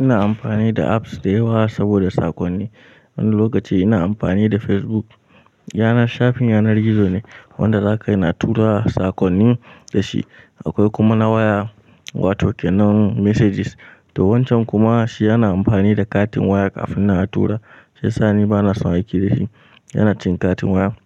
Ina amfani da apps da yawa saboda saƙonni. Wani lokaci ina amfani da Facebook, yanar shafin yanar gizo ne, wanda za ka yana tura saƙonni da shi. Akwai kuma na waya, wato kenan Messages. To wancan kuma shi ana amfani da katin waya kafin nan atura, shiyasa ni bana son aiki da shi, yana cin katin waya,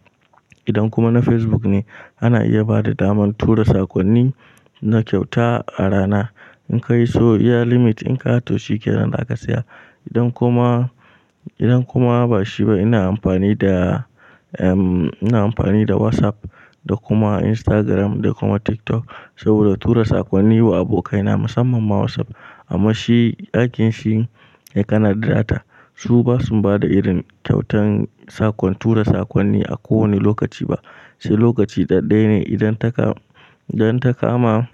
idan kuma na Facebook ne, ana iya bada daman tura saƙonni na kyauta a rana. In ka iso iya limit ɗin ka, to shi kenan daka saya. Idan kuma, idan kuma ba shi ba ina amfani da, ehm ina amfani da WhatsApp, da kuma Instagram, da kuma TikTok, saboda tura saƙonni wa abokaina musamman ma WhatsApp. Amma shi aikin shi sai kana da data, su ba su bada irin kyautan saƙon tura saƙonni a kowane lokaci ba. Sai lokaci ɗaɗɗaya ne idan ta kama, idan ta kama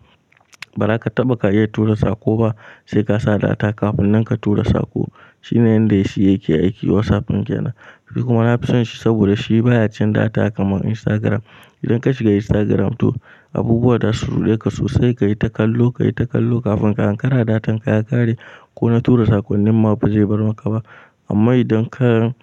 ba za ka taɓa ka iya tura saƙo ba, sai ka sa data kafin nan ka tura saƙo, shine yanda shi ya ke aiki WhatsApp ɗin kenan. Kuma na fi son shi saboda shi baya cin data kamar Instagram. Idan ka shiga Instagram, to abubuwa za su ruɗe ka sosai ka yi ta kallo, ka yi ta kallo, kafin ka ankara datan ka ya ƙare, ko na tura saƙonnin ma ba zai bar maka ba. Amma idan ka,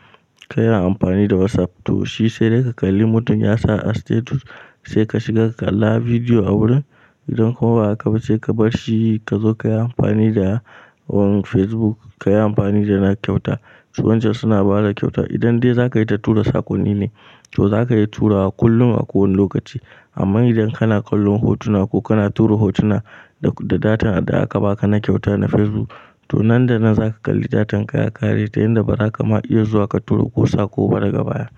ka yi amfani da WhatsApp, to shi sai dai ka kalli mutum ya sa a status sai ka shiga ka kalla bidiyo a wurin. Idan kuma ba haka ba sai ka bar shi ka zo ka yi amfani da Facebook, ka yi amfani da na kyauta. Su wancan suna bada kyauta. Idan dai za ka yi ta tura sakonni ne, to za ka iya turawa kullum a kowane lokaci, amma idan kana kallon hotuna ko kana tura hotuna da datan da aka baka na kyauta na Facebook, to nan da nan za ka kalli datan ka ya ƙare ta yanda ba za ka ma iya zuwa ka tura ko saƙo ba daga baya.